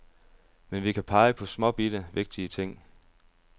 Men vi kan pege på småbitte, vigtige ting.